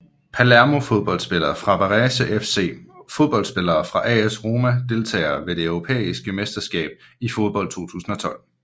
Palermo Fodboldspillere fra Varese FC Fodboldspillere fra AS Roma Deltagere ved det europæiske mesterskab i fodbold 2012